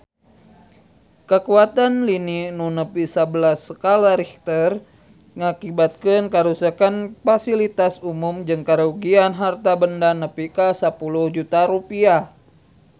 Kakuatan lini nu nepi sabelas skala Richter ngakibatkeun karuksakan pasilitas umum jeung karugian harta banda nepi ka 10 juta rupiah